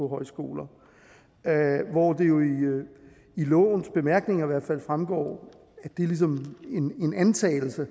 højskoler hvor det jo i lovens bemærkninger i hvert fald fremgår det er ligesom en antagelse at